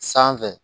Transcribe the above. Sanfɛ